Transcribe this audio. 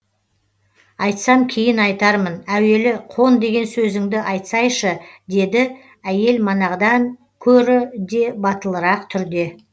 айтсам кейін айтармын әуелі қон деген сөзіңді айтсайшы деді әйел манағыдан көрі де батылырақ түрде